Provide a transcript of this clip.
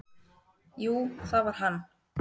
"""Jú, það var hann!"""